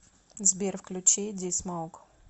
сбер включи ди смоук